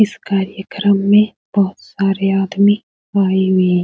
इस कार्यक्रम में बहुत सारे आदमी आये हुऐ --